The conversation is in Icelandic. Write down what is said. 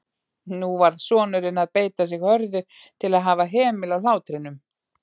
Nú varð sonurinn að beita sig hörðu til að hafa hemil á hlátrinum.